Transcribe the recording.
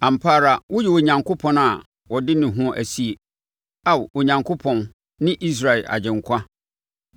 Ampa ara, woyɛ Onyankopɔn a ɔde ne ho sie, Ao Onyankopɔn ne Israel Agyenkwa.